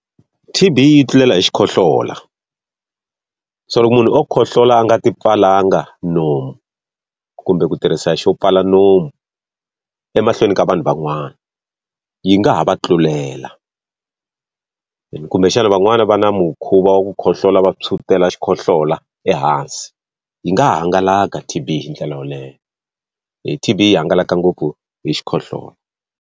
T_B yi tlulela hi xikhohlola. So loko munhu o khohlola a nga ti pfalanga nomu, kumbe ku tirhisa xo pfala nomu emahlweni ka vanhu van'wana yi nga ha va tlulela. Kumbexana van'wani va na mukhuva wa ku khohlola va tshwutela xikhohlola ehansi, yi nga hangalaka T_B hi ndlela yoleyo. T_B yi hangalaka ngopfu hi xikhohlola.